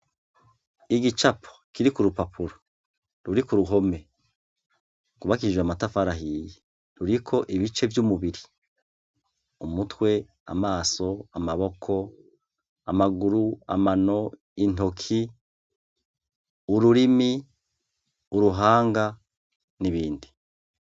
Igicapo ,kiri k’urupapuro ruri kuruhome rwubakishijwe amatafari ahiye , ruriko ibice vy’umubiri, umutwe , amaso, amaboko, amaguru, amano, intoke, ururimi, uruhanga n’ibindi.